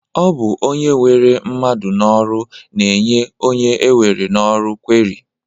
Ọ bụ onye weru mmadụ n'ọrụ na-enye onye ewere n'ọrụ kweri